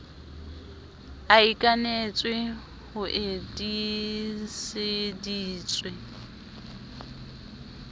e ikanetswe ho e tiiseditswe